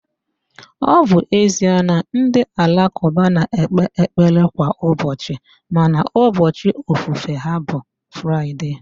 Ọ bụ ezie na ndị alakụba na-ekpe ekpere kwa ụbọchị mana ubọchị ofufe ha bụ Fraịde